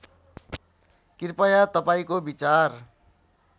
कृपया तपाईँको विचार